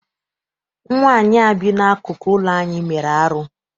Nwaanyị a bi n'akụkụ ụlọ anyị mere arụ.